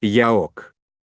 я ок